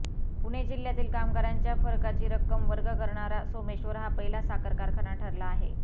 पुणे जिह्यातील कामगारांच्या फरकाची रक्कम वर्ग करणारा सोमेश्वर हा पहिला साखर कारखाना ठरला आहे